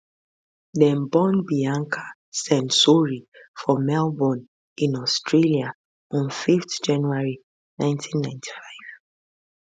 dem born bianca censori for melbourne in australia on 5 january 1995